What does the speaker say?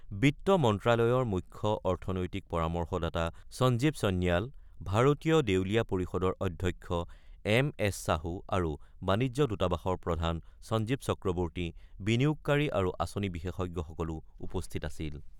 বিত্ত মন্ত্ৰ্যালয়ৰ মুখ্য অৰ্থনৈতিক পৰামৰ্শদাতা সঞ্জীৱ সন্ন্যাল, ভাৰতীয় দেউলীয়া পৰিষদৰ অধ্যক্ষ এম এছ সাহু আৰু বাণিজ্য দূতাবাসৰ প্ৰধান সঞ্জীৱ চক্ৰৱৰ্তী, বিনিয়োগকাৰী আৰু আঁচনি বিশেষজ্ঞসকলো উপস্থিত আছিল।